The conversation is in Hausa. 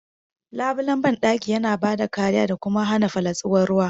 Labulen bandaki yana bada kariya da kuma hana fallatsuwar ruwa..